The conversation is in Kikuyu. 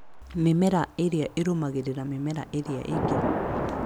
Mĩmera ĩrĩa ĩrũmagĩrĩra mĩmera ĩrĩa ĩngĩ